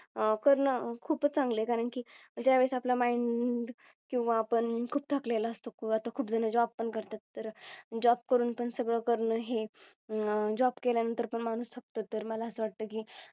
अह करणं खूप चांगले कारण की ज्यावेळेस आपल Mind किंवा आपण खूप थकलेलो असतो की आता खूप जण Job पण करतात तर Job करून पण सगळं करणं हे अह Job केल्यानंतर पण माणूस थकतो तर मला असं वाटतं की